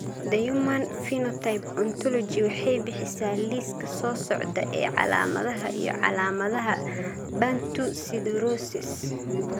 The Human Phenotype Ontology waxay bixisaa liiska soo socda ee calaamadaha iyo calaamadaha Bantu siderosis.